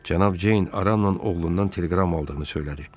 Cənab Ceyn Aranla oğlundan teleqram aldığını söylədi.